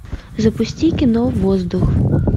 запусти кино воздух